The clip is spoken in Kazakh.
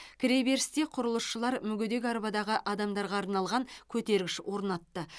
кіреберісте құрылысшылар мүгедек арбадағы адамдарға арналған көтергіш орнатты